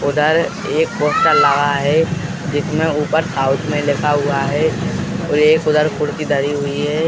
उधर एक पोस्टर लगा है। जिसमें ऊपर साउथ में लिखा हुआ है। एक उधर कुर्सी धरी हुई है।